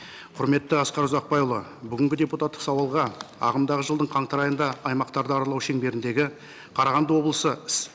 құрметті асқар ұзақбайұлы бүгінгі депутаттық сауалға ағымдағы жылдың қаңтар айында аймақтарды аралау шеңберіндегі қарағанды облысы